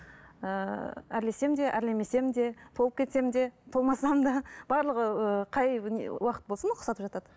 ыыы әрлесем де әрлемесем де толып кетсем де толмасам да барлығы ыыы қай не уақыт болсын ұқсатып жатады